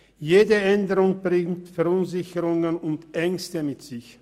Jede Änderung bringt Verunsicherungen und Ängste mit sich.